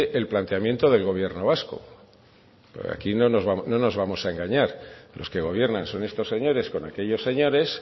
el planteamiento del gobierno vasco porque aquí no nos vamos a engañar los que gobiernan son estos señores con aquellos señores